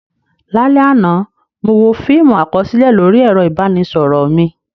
Lálẹ́ àná, mo wo fíìmù àkọsílẹ̀ lórí ẹ̀rọ ìbánisọ̀rọ̀ mi.